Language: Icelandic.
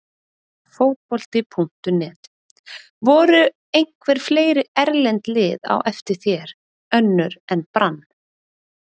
Fótbolti.net: Voru einhver fleiri erlend lið á eftir þér, önnur en Brann?